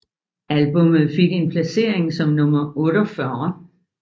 Albummet fik en placering som nummer 48